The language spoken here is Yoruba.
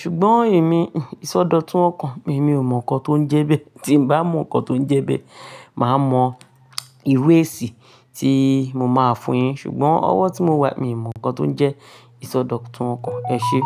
ṣùgbọ́n èmi, ìsọdọ̀tun ọkàn emi ò mọ̀ nǹkan tó ń jẹ bẹ́ẹ̀. Tí n bá mọ nǹkan tó ń jẹ bẹ́ẹ̀, màá mọ ìwé èsì tí mo máa fún un yín. Ṣùgbọ́n ọwọ́ tí mo wà, mi mọ nǹkan tó ń jẹ́ ìsọdọ̀tun ọkàn ẹ ṣe.